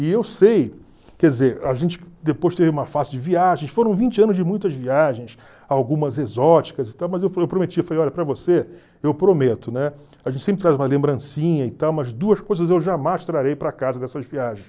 E eu sei, quer dizer, a gente depois teve uma fase de viagens, foram vinte anos de muitas viagens, algumas exóticas e tal, mas eu pro prometi, falei, olha, para você, eu prometo, né? A gente sempre traz uma lembrancinha e tal, mas duas coisas eu jamais trarei para casa nessas viagens.